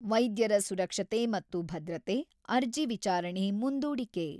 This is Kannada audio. -ವೈದ್ಯರ ಸುರಕ್ಷತೆ ಮತ್ತು ಭದ್ರತೆ ; ಅರ್ಜಿ ವಿಚಾರಣೆ ಮುಂದೂಡಿಕೆ.